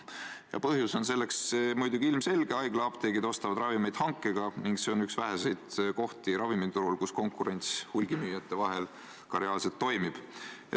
Ja põhjus on muidugi ilmselge: haiglaapteegid ostavad ravimeid hankega ning see on üks väheseid kohti ravimiturul, kus konkurents hulgimüüjate vahel ka reaalselt toimib.